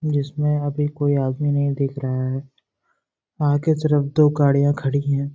जिसमें अभी कोई आदमी नहीं दिख रहा है आगे तरफ दो गाड़ियाँ खड़ी हैं ।